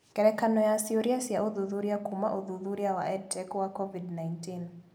Ngerekano ya ciũria cia ũthuthuria kuuma ũthuthuria wa EdTech wa Covid-19